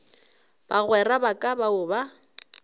bagwera ba ka bao ba